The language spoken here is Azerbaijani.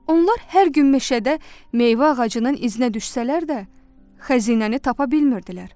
Onlar hər gün meşədə meyvə ağacının iznə düşsələr də, xəzinəni tapa bilmirdilər.